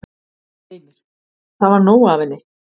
Heimir: Það var nóg af henni?